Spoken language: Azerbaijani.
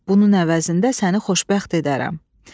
Bunun əvəzində səni xoşbəxt edərəm.